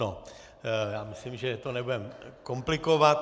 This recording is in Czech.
No, já myslím, že to nebudeme komplikovat.